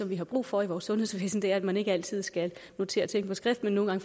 vi har brug for i vores sundhedsvæsen er nemlig at man ikke altid skal notere ting på skrift men nogle